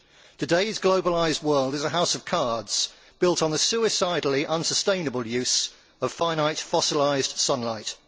Today's globalised world is a house of cards, built on the suicidally unsustainable use of finite fossilised sunlight.